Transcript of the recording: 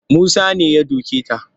Musa ne ya doke ta